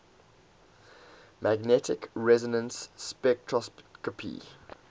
magnetic resonance spectroscopy